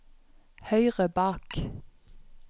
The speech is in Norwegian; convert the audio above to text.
høyre bak